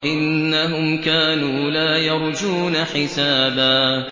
إِنَّهُمْ كَانُوا لَا يَرْجُونَ حِسَابًا